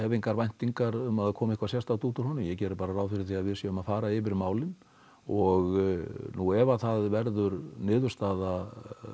engar væntingar um að komi eitthvað sérstakt út úr honum ég geri bara ráð fyrir því að við séum að fara yfir málin og nú ef það verður niðurstaða